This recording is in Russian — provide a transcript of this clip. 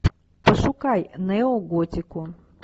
пошукай неоготику